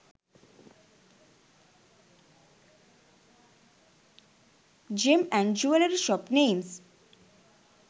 gem and jewellery shop names